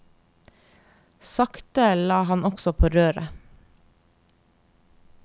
Sakte la han også på røret.